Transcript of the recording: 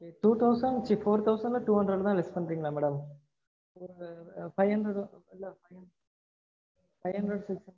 two thousand ச்சி four thousand ல two hundred தா less பண்றீங்களா madam? five hundred five hundred madam?